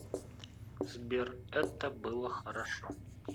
сбер это было хорошо